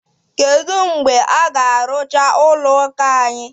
Kedu mgbe a ga-arụcha ụlọ ụka anyị?